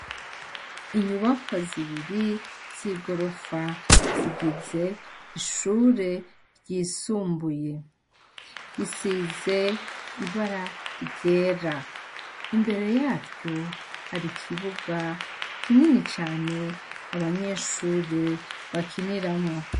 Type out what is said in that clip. Inyubakwa zibiri z' igorofa zigize ishure ryisumbuye, isize ibara ryera, imbere yaryo hari ikibuga kinini cane abanyeshure bakiniramwo.